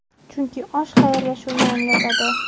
Chunki osh xayrlashuvni anglatadi.